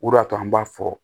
O de y'a to an b'a fɔ